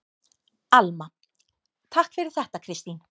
Alma: Takk fyrir þetta Kristín.